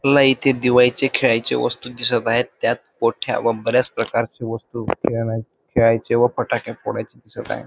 ना इथे दिवाळीचे खेळायचे वस्तु दिसत आहेत त्यात मोठ्या व बराच प्रकारची वस्तू खेळायचे व फटाके फोडायचे दिसत आहेत.